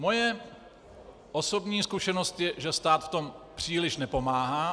Moje osobní zkušenost je, že stát v tom příliš nepomáhá.